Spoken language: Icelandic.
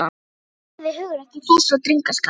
Ég virði hugrekki þess og drengskap.